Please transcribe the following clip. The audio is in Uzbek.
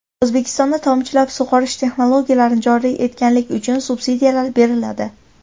O‘zbekistonda tomchilatib sug‘orish texnologiyalarini joriy etganlik uchun subsidiyalar beriladi.